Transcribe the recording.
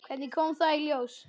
Hvernig kom það í ljós?